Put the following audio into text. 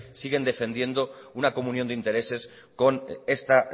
siguen defendiendo una comunión de intereses con esta